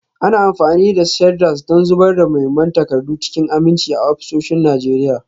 Ana amfani da shredders don zubar da muhimman takardu cikin aminci a ofisoshin Najeriya.